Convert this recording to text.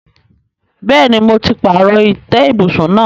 Bẹ́ẹ̀ni, mo ti pààrọ̀ ìtẹ́ ibùsùn náà.